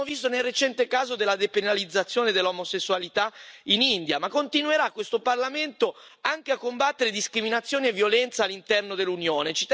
L'abbiamo visto nel recente caso della depenalizzazione dell'omosessualità in India, ma continuerà questo Parlamento anche a combattere discriminazione e violenza all'interno dell'Unione.